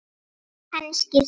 Kannski sagði